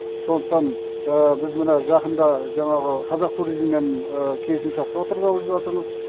сондықтан біз мына жақында жаңағы қазақтуризммен келісімшартқа отырғалы жатырмыз